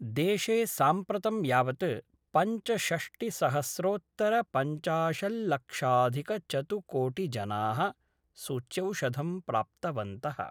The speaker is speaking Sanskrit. देशे साम्प्रतं यावत् पंचषष्टिसहस्रोत्तरपंचाशत्लक्षाधिकचतुकोटिजनाः सूच्यौषधं प्राप्तवन्त:।